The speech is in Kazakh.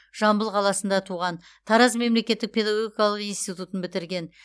жамбыл қаласында туған тараз мемлекеттік педагогикалық институтын бітірген